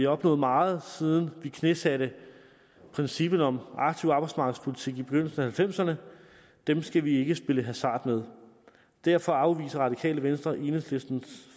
opnået meget siden vi knæsatte princippet om aktiv arbejdsmarkedspolitik i begyndelsen af halvfemserne det skal vi ikke spille hasard med derfor afviser radikale venstre enhedslistens